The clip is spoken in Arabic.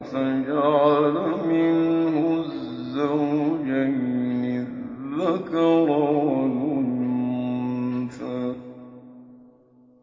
فَجَعَلَ مِنْهُ الزَّوْجَيْنِ الذَّكَرَ وَالْأُنثَىٰ